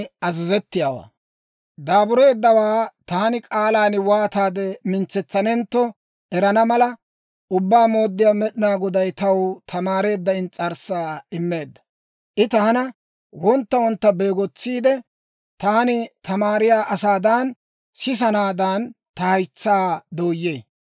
Daabureeddawaa taani k'aalan waataade mintsetsanentto erana mala, Ubbaa Mooddiyaa Med'inaa Goday taw tamaareedda ins's'arssaa immeedda. I taana wontta wontta beegotsiide, taani tamaariyaa asaadan sisanaadaan, ta haytsaa dooyee.